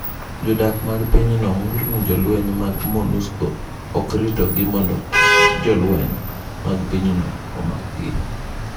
Jodak mag pinyno ng’ur ni jolweny mag MONUSCO ok ritogi mondo kik jolweny mag pinyno omakgi.